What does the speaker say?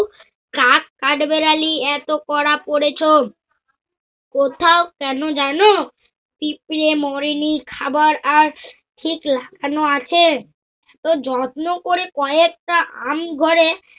কাঠবেড়ালী এত পরা পরেছ। কোথাও কেন জানো? পিঁপড়ে মরেনি খাবার আর ঠিক লাগানো আছে। ও যত্ন করি কয়েকটা আম ঘরে